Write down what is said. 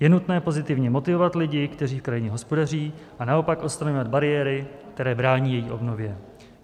Je nutné pozitivně motivovat lidi, kteří v krajině hospodaří, a naopak odstraňovat bariéry, které brání její obnově.